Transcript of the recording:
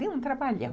Deu um trabalhão.